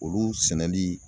Olu sɛnɛli